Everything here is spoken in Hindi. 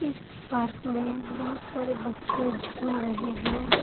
इस पार्क में बहुत सारे बच्चे झूल रहे है।